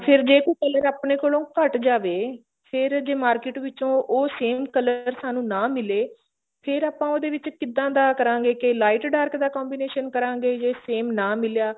ਫੇਰ ਜੇ ਕੋਈ color ਆਪਣੇ ਕੋਲੋ ਘੱਟ ਜਾਵੇ ਫੇਰ ਉਹ market ਵਿੱਚੋ same color ਸਾਨੂੰ ਨਾ ਮਿਲੇ ਫੇਰ ਆਪਾਂ ਉਹਦੇ ਵਿੱਚ ਕਿੱਦਾਂ ਦਾ ਕਰਾਂਗੇ ਕੇ light dark ਦਾ combination ਕਰਾਂਗੇ ਜੇ same ਨਾ ਮਿਲਿਆ